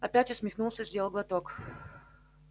опять усмехнулся сделал глоток